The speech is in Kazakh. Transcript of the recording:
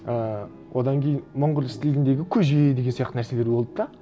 ііі одан кейін монғол стиліндегі көже деген сияқты нәрселер болды да